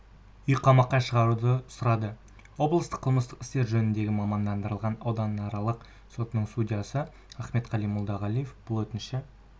үйқамаққа шығаруды сұрады облыстық қылмыстық істер жөніндегі мамандандырылған ауданаралық сотының судьясы ахметқали молдағалиев бұл өтінішті